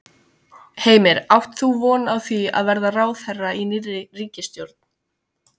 Heimir: Átt þú von á því að verða ráðherra í nýrri ríkisstjórn?